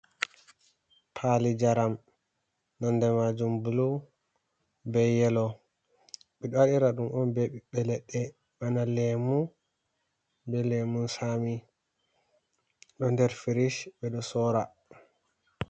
Pali njaram nonde majum blu be yelo, ɓeɗo waɗira ɗum on be ɓiɓɓe leɗɗe, bana lemu, be lemun sami ɗo nder firish ɓe ɗo sora.